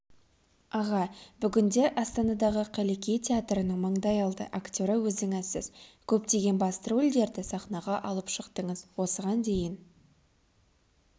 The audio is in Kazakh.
аға бүгінде астанадағы қаллеки театрының маңдайалды актері өзіңізсіз көптеген басты рөлдерді сахнаға алып шықтыңыз осыған дейін